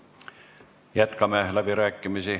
Jätkame läbirääkimisi.